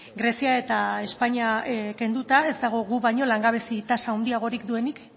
grezia eta espainia kenduta ez dago gu baino langabezi tasa handiagorik duenik